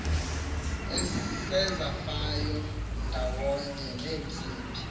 esezafayo ndawonye neentsimbi